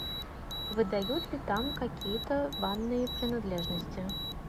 выдают ли там какие то банные принадлежности